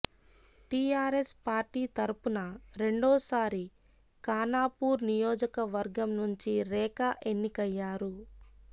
TRS party తరపున రెండోసారి ఖానాపూర్ నియోజకవర్గం నుంచి రేఖా ఎన్నికయ్యారు